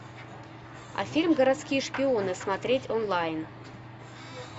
а фильм городские шпионы смотреть онлайн